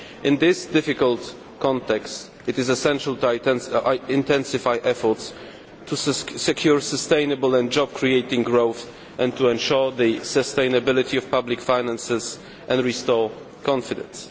In this difficult context it is essential to intensify efforts to secure sustainable and job creating growth, to ensure the sustainability of public finances and restore confidence.